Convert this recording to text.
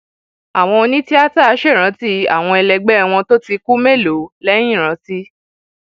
àwọn onítìata ṣèrántí àwọn ẹlẹgbẹ wọn tó ti kú mélòó lẹyìn rántí